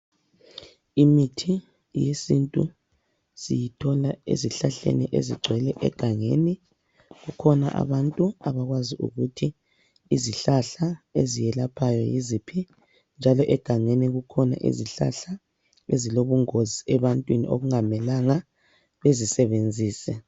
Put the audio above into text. Imithi yesintu siyithola ezihlahleni ezigcwele egangeni, kukhona abantu abakwazi ukuthi izihlahla eziyelaphayo yiziphi, njalo egangeni kukhona izihlahla ezilobungozi ebantwini okungamelanga bezi sebenzise.